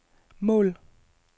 mål